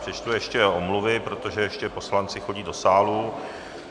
Přečtu ještě omluvy, protože ještě poslanci chodí do sálu.